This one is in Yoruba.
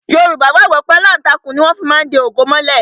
Yorùbá gbàgbọ́ wípé aláǹtakùn ni wón má fí ń de ògo mọ́lẹ̀